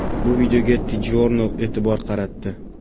Bu videoga TJournal e’tibor qaratdi .